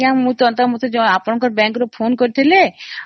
ଯେ ”ଆପଣଙ୍କ bank ରୁ ତ ମୋତେ call ଆସିଥିଲା